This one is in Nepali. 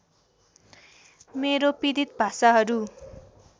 मेरो पीडित भाषाहरू